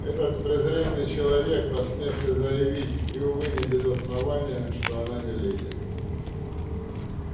этот презренный человек посмевший заявить и увы не без основания что она не леди